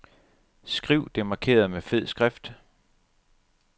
Skriv det markerede med fed skrift.